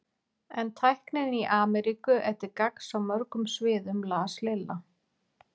En tæknin í Ameríku er til gagns á mörgum sviðum las Lilla.